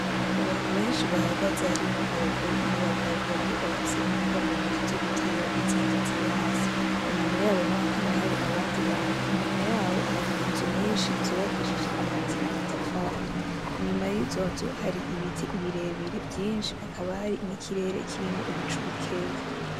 Abantu benshi bahagaze harimwo abagore n’abagabo bamwe bafise imboga mu ntoki zo gutera n’izindi ziri hasi .Inyuma yabo hakaba hari abandi bantu .Inyuma yaho hakaba hari inzu nyinshi zubakishijijwe amabati n’amatafari .lnyuma yizo nzu hari ibiti birebire vyinshi hakaba hari n’ikirere kirimwo ibicu bikeyi